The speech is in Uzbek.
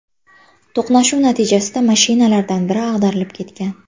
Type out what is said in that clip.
To‘qnashuv natijasida mashinalardan biri ag‘darilib ketgan.